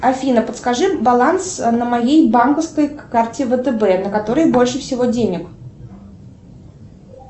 афина подскажи баланс на моей банковской карте втб на которой больше всего денег